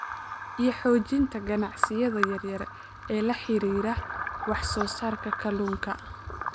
iyo xoojinta ganacsiyada yaryar ee la xidhiidha wax soo saarka kalluunka.